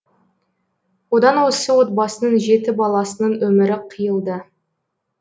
одан осы отбасының жеті баласының өмірі қиылды